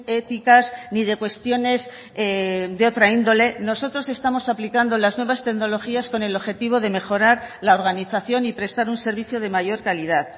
éticas ni de cuestiones de otra índole nosotros estamos aplicando las nuevas tecnologías con el objetivo de mejorar la organización y prestar un servicio de mayor calidad